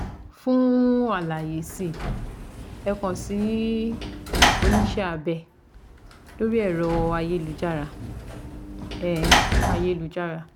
Fún àlàyé si ẹ kàn sí oníṣẹ́ abẹ lórí ẹ̀rọ ayélujára ayélujára